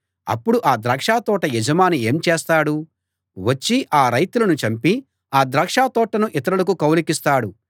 అప్పుడు ఆ ద్రాక్షతోట యజమాని ఏం చేస్తాడు వచ్చి ఆ రైతులను చంపి ఆ ద్రాక్షతోటను ఇతరులకు కౌలుకిస్తాడు